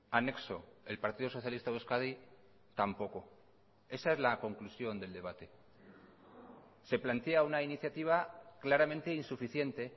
anexo el partido socialista de euskadi tampoco esa es la conclusión del debate se plantea una iniciativa claramente insuficiente